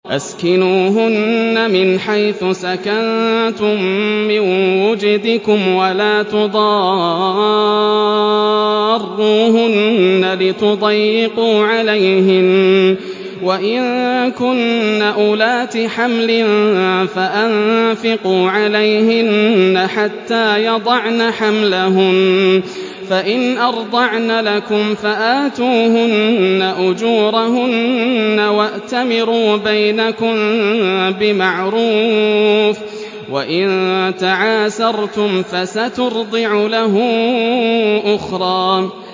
أَسْكِنُوهُنَّ مِنْ حَيْثُ سَكَنتُم مِّن وُجْدِكُمْ وَلَا تُضَارُّوهُنَّ لِتُضَيِّقُوا عَلَيْهِنَّ ۚ وَإِن كُنَّ أُولَاتِ حَمْلٍ فَأَنفِقُوا عَلَيْهِنَّ حَتَّىٰ يَضَعْنَ حَمْلَهُنَّ ۚ فَإِنْ أَرْضَعْنَ لَكُمْ فَآتُوهُنَّ أُجُورَهُنَّ ۖ وَأْتَمِرُوا بَيْنَكُم بِمَعْرُوفٍ ۖ وَإِن تَعَاسَرْتُمْ فَسَتُرْضِعُ لَهُ أُخْرَىٰ